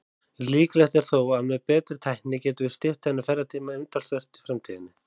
Líklegt er þó að með betri tækni gætum við stytt þennan ferðatíma umtalsvert í framtíðinni.